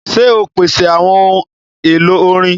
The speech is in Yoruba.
Ṣe o pese awọn ohun elo orin!?